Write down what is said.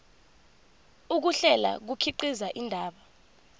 ukuhlela kukhiqiza indaba